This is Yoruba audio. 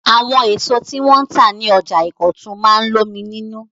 Àwọn èso tí wọn tà ní ọjà Ìkọ̀tún máa ń lómi nínú.